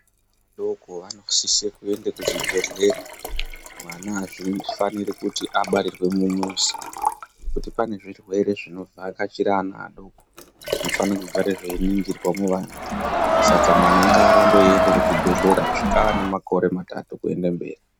Ana adoko anosise kuende kuzvibhedhlera mwana azvifaniri kuti abarirwe mumuzi ngekuti pane zvirwere zvinovhakachira ana adoko zvinofane kugara zveiningirwa muana saka mwana ngaarambe eienda kuzvibhedhlera kusvika aane makore matatu kuende mberi.